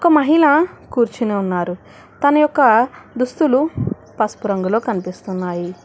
ఓ మహిళ కూర్చుని ఉన్నారు తన యొక్క దుస్తులు పసుపు రంగులో కనిపిస్తున్నాయి.